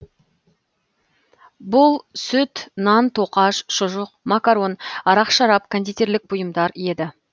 бұл сүт нан тоқаш шұжық макарон арақ шарап кондитерлік бұйымдар еді